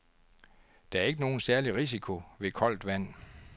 Der er ikke nogen særlig risiko ved koldt vand.